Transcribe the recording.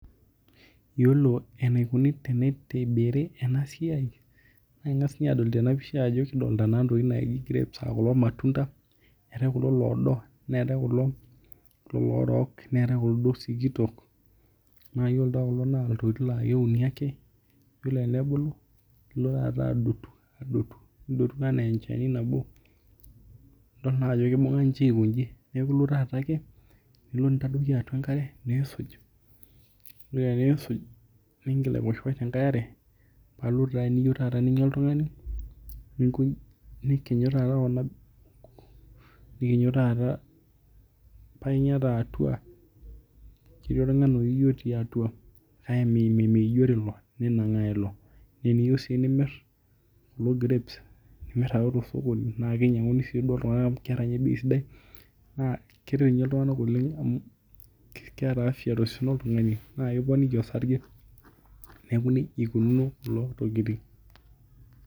Yiolo enaikuni tenitibiri ena siai naa ing'as ninye adol tena pisha ajo kidolita naa ntokiting naaji naa grapes aa kulo matunda. Eetae kulo loodo, neetae kulo loorook, neetae kulo duo sikitok naa yiolo taa kulo naa iltokiting naa keuni ake. Yiolo enebulu, nilo taata adotu, adotu, adotu enaa enchani nabo nidol naa ajo kibung'a ninche aiko nji. Neeku ilo naa taata ake, nilo nintadoiki atwa enkare niisuj, nilo ake niisuj, niingil aiposhiposh tenkae are pailotu taa taata eniyieu ninya oltung'ani nikinyu taata, nikinyu taata painya taa atwa. Ketii orng'anayioi otii atwa meijori ilo, ninang'aa ilo. Naa eniyieu sii nimirr kulo grapes nimirr ake tosokoni naakinyang'uni duo iltung'anak amu keeta ninye bei sidai naa kitai ninye iltung'anak oleng amu keeta afya tosesen loltung'ani nekiponiki osarge. Neeku nija ikununo kulo tokiting